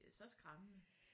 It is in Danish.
Det er så skræmmende